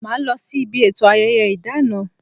Ma losi ibi eto ayẹyẹ ìdáná